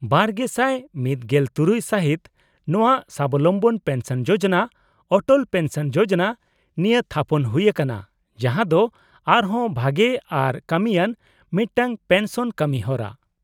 -᱒᱐᱑᱖ ᱥᱟᱹᱦᱤᱛ ᱱᱚᱶᱟ ᱥᱟᱵᱚᱞᱚᱢᱵᱚᱱ ᱯᱮᱱᱥᱚᱱ ᱡᱳᱡᱳᱱᱟ ᱚᱴᱚᱞ ᱯᱮᱱᱥᱚᱱ ᱡᱳᱡᱳᱱᱟ ᱱᱤᱭᱟᱹ ᱛᱷᱟᱯᱚᱱ ᱦᱩᱭ ᱟᱠᱟᱱᱟ , ᱡᱟᱦᱟᱸ ᱫᱚ ᱟᱨ ᱦᱚᱸ ᱵᱷᱟᱜᱮ ᱟᱨ ᱠᱟᱹᱢᱤᱭᱟᱱ ᱢᱤᱫᱴᱟᱝ ᱯᱮᱱᱥᱚᱱ ᱠᱟᱹᱢᱤ ᱦᱚᱨᱟ ᱾